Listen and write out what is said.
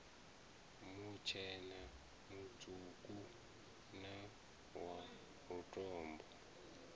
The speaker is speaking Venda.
mutshena mutswuku na wa lutombo